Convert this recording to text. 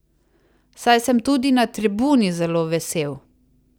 Saj sem tudi na tribuni zelo vesel.